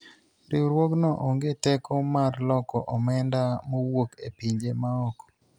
riwruogno onge teko mar loko omenda mowuok e pinje maoko